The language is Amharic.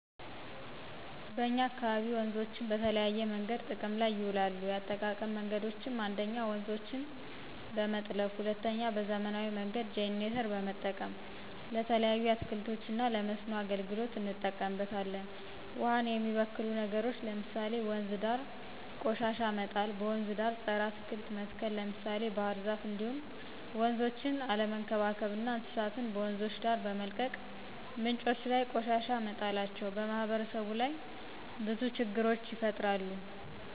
በእኛ አካባቢ ወንዞችን በተለያዬ መንገዶች ጥቅም ላይ ይውላሉ የአጠቃቀም መንገዶችም 1ኞ:-ውንዞችን በመጥለፍ 2ኛ:- በዘመናዊ መንገድ ጀነሬተር በመጠቀም። ለተለያዩ አትክልቶች እና ለመስኖ አገልግሎት እንጠቀምበታለን። ውሃን የሚበክሉ ነገሮች ለምሳሌ:- ወንዝ ዳር ቆሻሻ መጣል; በወንዝ ዳር ፀረ አትክልት መትከል ለምሳሌ ባህርዛፍ እንዲሁም ወንዞችን አለመንከባከብ እና እንስሳት በወንዞች ዳር በመልቀቅ ምንጮች ላይ ቆሻሻ መጣላቸው። በማህበረሰቡ ላይ ብዙ ችግሮችን ይፈጥራል